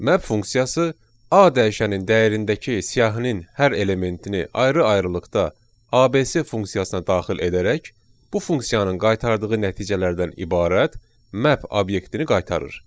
Map funksiyası A dəyişənin dəyərindəki siyahının hər elementini ayrı-ayrılıqda ABS funksiyasına daxil edərək, bu funksiyanın qaytardığı nəticələrdən ibarət map obyektini qaytarır.